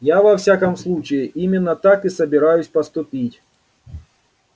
я во всяком случае именно так и собираюсь поступить